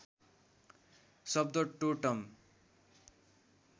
शब्द टोर्टम